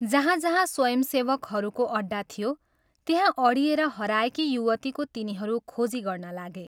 जहाँ जहाँ स्वयंसेवकहरूको अड्डा थियो, त्यहाँ अडिएर हराएकी युवतीको तिनीहरू खोजी गर्न लागे।